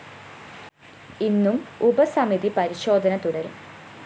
ഇന്നും ഉപസമിതി പരിശോധന തുടരും